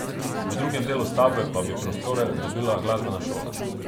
V drugem delu stavbe pa bi prostore dobila glasbena šola.